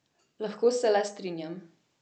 Lahko se le strinjam.